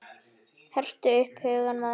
Hertu upp hugann maður!